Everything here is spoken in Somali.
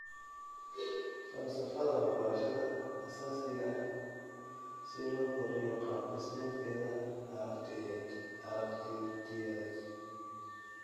Falsafadda waxbarashada aasaasiga ah si loo kordhiyo qaab-dhismeedkeeda aragtiyeed,